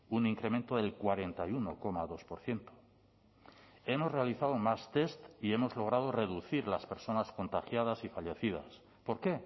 un incremento del cuarenta y uno coma dos por ciento hemos realizado más test y hemos logrado reducir las personas contagiadas y fallecidas por qué